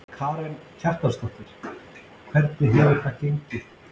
Karen Kjartansdóttir: Hvernig hefur það gengið?